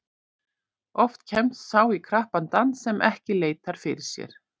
Oft kemst sá í krappan dans sem ekki leitar fyrir sér.